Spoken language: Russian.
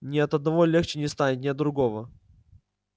но ни от одного легче не станет ни от другого